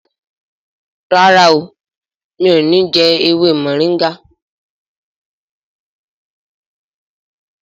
ràrá mi'o ní jé ewé Moringa.